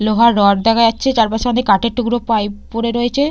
লোহার রড দেখা যাচ্ছে চারপাশে অনেক কাঠের টুকরো পাইপ পড়ে রয়েছে।